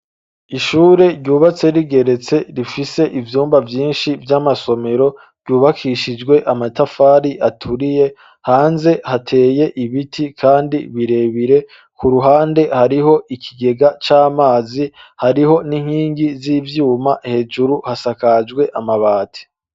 Ishure, ryubatse rigeretse, rifise ivyumba vyinshi, vy'amasomero; ryubakishijwe amatafari aturiye, hanze hateye ibiti, kandi birebire; ku ruhande, hariho ikigega c'amazi, hariho n'inkingi z'ivyuma, hejuru hasakajwe, amabati.